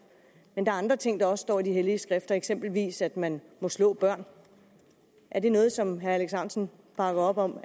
men der er andre ting der også står i de hellige skrifter eksempelvis at man må slå børn er det noget som herre alex ahrendtsen bakker op om